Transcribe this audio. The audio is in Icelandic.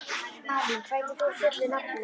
Malín, hvað heitir þú fullu nafni?